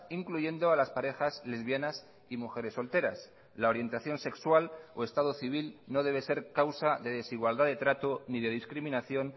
incluyendo a las parejas lesbianas y mujeres solteras la orientación sexual o estado civil no debe ser causa de desigualdad de trato ni de discriminación